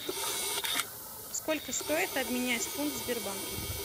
сколько стоит обменять фунт в сбербанке